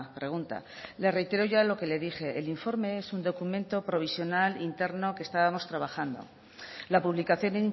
pregunta le reitero ya lo que le dije el informe es un documento provisional interno que estábamos trabajando la publicación